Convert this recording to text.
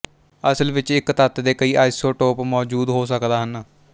ਅਸਲ ਵਿੱਚ ਇੱਕ ਤੱਤ ਦੇ ਕਈ ਆਇਸੋਟੋਪ ਮੌਜੂਦ ਹੋ ਸਕਦਾ ਹਨ